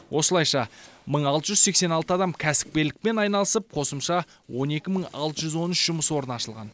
осылайша мың алты жүз сексен алты адам кәсіпкерлікпен айналысып қосымша он екі мың алты жүз он үш жұмыс орны ашылған